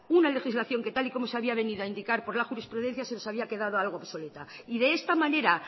una legislación que tal y como se había venido a indicar por la jurisprudencia se nos había quedado algo obsoleta de esta manera